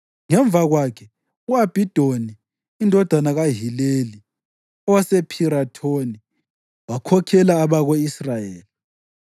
Ngemva kwakhe, u-Abhidoni indodana kaHileli, owasePhirathoni, wakhokhela abako-Israyeli.